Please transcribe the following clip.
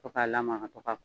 To ka lamaka, to ka